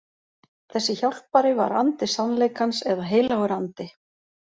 Þessi hjálpari var andi sannleikans eða heilagur andi.